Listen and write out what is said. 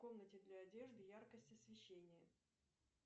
в комнате для одежды яркость освещения